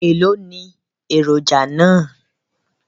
Èló ni èròjà náà?